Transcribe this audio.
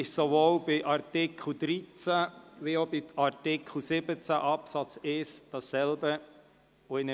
Sowohl bei Artikel 13 als auch bei Artikel 17 Absatz 1 handelt es sich um dieselbe Änderung.